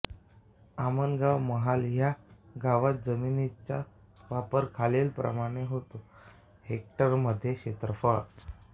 आमगाव महाल ह्या गावात जमिनीचा वापर खालीलप्रमाणे होतो हेक्टरमध्ये क्षेत्रफळ